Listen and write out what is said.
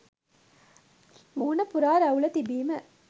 මුහුණ පුරා රැවුල තිබීම